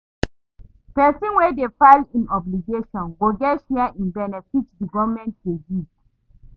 Pesin wey dey file im obligations go get share in benefit di government dey give